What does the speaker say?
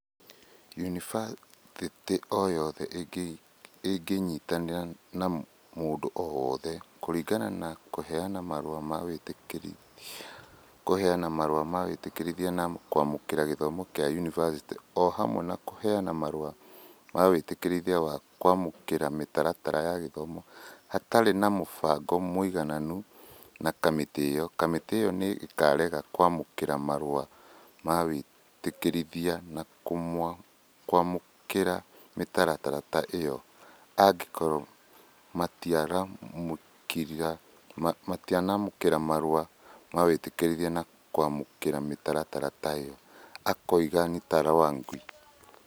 "yunibathĩtĩ o yothe ĩngĩĩnyitanĩra na mũndũ o wothe, kũringana na kũheana marũa ma wĩtĩkĩrithia, kũheana marũa ma wĩtĩkĩrithia na kwamũkĩra gĩthomo kĩa yunivasĩtĩ o hamwe na kũheana marũa ma wĩtĩkĩrithia na kwamũkĩra mĩtaratara ya gĩthomo hatarĩ na mũbango mũiganu na kamĩtĩ ĩyo, kamĩtĩ ĩyo nĩ ĩkaarega kwamũkĩra marũa ma wĩtĩkĩrithia na kwamũkĩra mĩtaratara ta ĩyo angĩkorwo matiramũkĩra marũa ma wĩtĩkĩrithia na kwamũkĩra mĩtaratara ta ĩyo, "akiuga Ntarangwi.